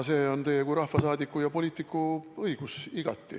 See on igati teie kui rahvasaadiku ja poliitiku õigus.